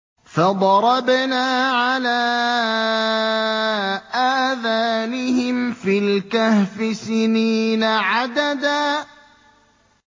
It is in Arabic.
فَضَرَبْنَا عَلَىٰ آذَانِهِمْ فِي الْكَهْفِ سِنِينَ عَدَدًا